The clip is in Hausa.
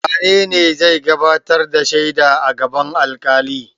Wane ne zai gabatar da shaida a gaban alƙali?